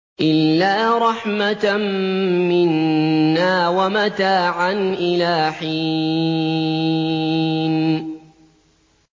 إِلَّا رَحْمَةً مِّنَّا وَمَتَاعًا إِلَىٰ حِينٍ